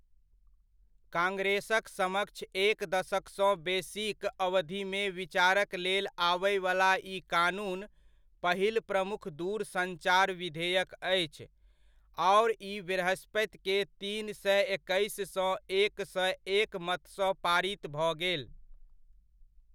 कांग्रेसक समक्ष एक दशकसँ बेसीक अवधिमे विचारक लेल आबयवला ई कानून पहिल प्रमुख दूरसञ्चार विधेयक अछि, आओर ई बृहस्पतिकेँ तीन सए एकैस सँ एक सए एक मतसँ पारित भऽ गेल।